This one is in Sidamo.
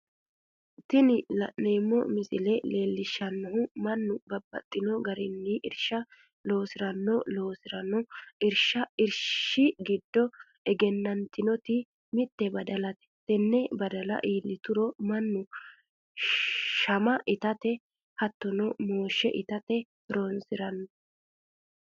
Tini la'neemo misile leellishanohu mannu babaxxino garinni irisha loosiranno, loosirano irishi gido egeena'tinoti mite badalate, tene badala iillituro manu shama ittate hatono mooshe itate horonsirano